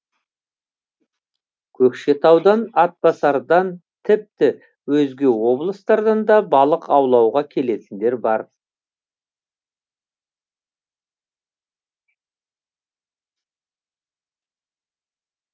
көкшетаудан атбасардан тіпті өзге облыстардан да балық аулауға келетіндер бар